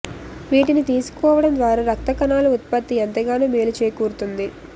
వీటిని తీసుకోవడం ద్వారా రక్త కణాల ఉత్పత్తి ఎంతగానో మేలు చేకూరుతుంది